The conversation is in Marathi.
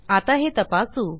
आता हे तपासू